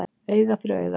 Auga fyrir auga